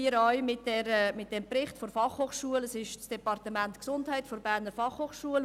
Wir haben den Bericht des Departements Gesundheit der BFH.